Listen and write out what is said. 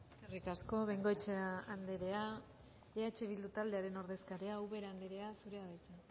eskerrik asko bengoechea anderea eh bildu taldearen ordezkaria ubera anderea zurea da hitza